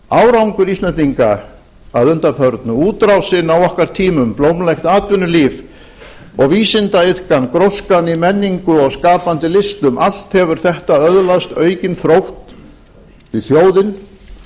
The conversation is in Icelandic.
árangur íslendinga að undanförnu útrásin á okkar tímum blómlegt atvinnulíf og vísindaiðkan gróskan í menningu og skapandi listum allt hefur það öðlast aukinn þrótt því þjóðin